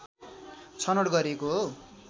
छनौट गरिएको हो